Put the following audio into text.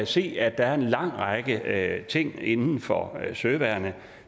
se at der er en lang række ting inden for søværnet